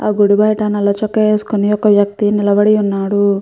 ఆ గుడి బయట నల్ల చొక్కా వేసుకొని ఒక వ్యక్తి నిలబడి ఉన్నాడు.